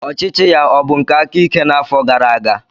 Ọchịchị ya ọ bụ nke aka ike n'afọ gara aga?